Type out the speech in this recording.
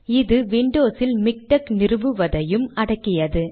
இது விண்டோஸ் இல் மிக்டெக் நிறுவுவதையும் அடக்கியது